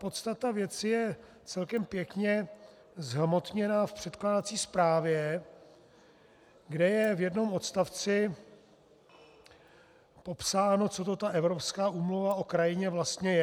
Podstata věci je celkem pěkně zhmotněna v předkládací zprávě, kde je v jednom odstavci popsáno, co to ta Evropská úmluva o krajině vlastně je.